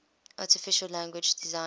artificial language designed